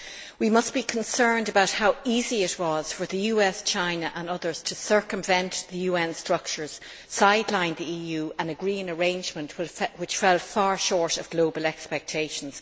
We must be concerned about how easy it was for the US, China and others to circumvent the UN structures, sideline the EU and agree an arrangement which fell far short of global expectations.